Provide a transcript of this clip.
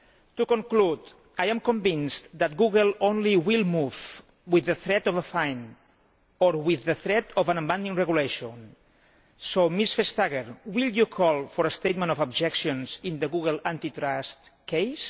To conclude, I am convinced that Google only will move with the threat of a fine or with the threat of an amending regulation so, Ms Vestager, will you call for a statement of objections in the Google antitrust case?